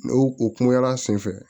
N'o o kungoyala senfɛ